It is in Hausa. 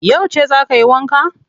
Yauce za ka yi wanka?